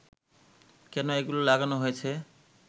কেন এগুলো লাগানো হয়েছে